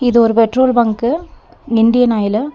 இது ஒரு petrol bunk Indian Oil .